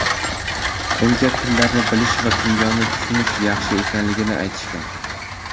Unga tillarni bilish va kimyoni tushunish yaxshi ekanligini aytishgan.